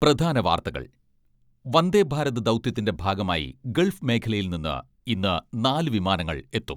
പ്രധാന വാർത്തകൾ വന്ദേ ഭാരത് ദൗത്യത്തിന്റെ ഭാഗമായി ഗൾഫ് മേഖലയിൽ നിന്ന് ഇന്ന് നാല് വിമാനങ്ങൾ എത്തും.